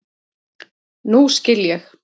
Nú skil ég.